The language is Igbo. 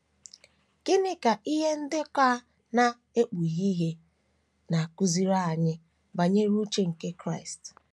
Gịnị ka ihe ndekọ a na - ekpughe ihe na - akụziri anyị banyere uche nke Kraịst?